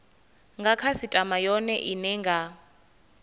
nga khasitama yone ine nga